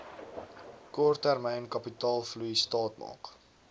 korttermyn kapitaalvloei staatmaak